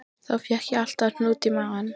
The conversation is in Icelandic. Þá fékk ég alltaf hnút í magann.